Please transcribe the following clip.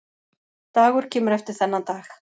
Dagur kemur eftir þennan dag.